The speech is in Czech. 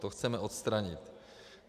To chceme odstranit.